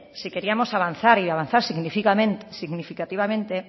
si queríamos avanzar y avanzar significativamente